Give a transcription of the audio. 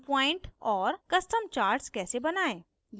custom charts कैसे बनायें